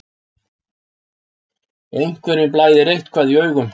Einhverjum blæðir eitthvað í augum